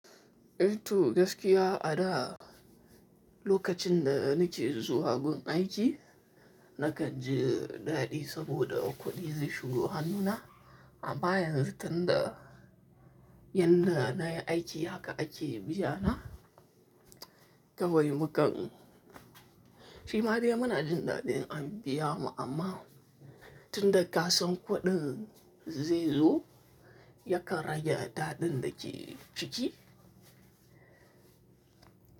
Eh toh, gaskiya a da lokacin da nake zuwa gun aiki nakan ji daɗi saboda kuɗi zai shigo hannuna. Amma yanzu tunda yadda nayi aiki haka ake biya na kawai mu kan, shi ma dai muna jin daɗin in an biya mu amma. Tunda ka san kuɗin zai zo yakan rage daɗin da ke ciki.